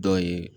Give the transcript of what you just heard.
Dɔ ye